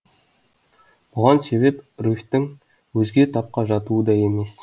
бұған себеп руфьтің өзге тапқа жатуы да емес